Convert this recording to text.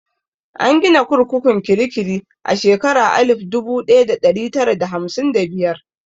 An gina kurkukun kirikiri a shekara alif dubu ɗaya da ɗari tara da hamsin da biyar.